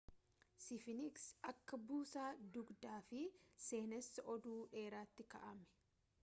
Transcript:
sfiiniks akka buusaa-dugdaa fi seenessaa oduu dheeraatti kaa'ame